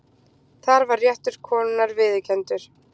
Þar var réttur konunnar viðurkenndur.